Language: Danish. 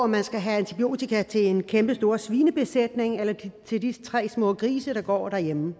man skal have antibiotika til en kæmpestor svinebesætning eller til de tre små grise der går derhjemme og